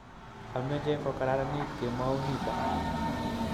ameche kokararanit kemou nito